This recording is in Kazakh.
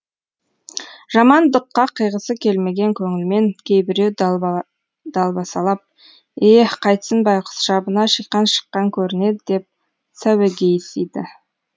жамандыққа қиғысы келмеген көңілмен кейбіреу далбасалап е қайтсін байқұс шабына шиқан шыққан көрінеді деп сәуегейсиді